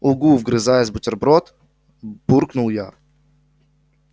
угу вгрызаясь в бутерброд буркнул я